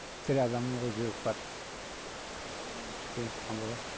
тірі адаммын ғой жүрек бар іштен шыққан бала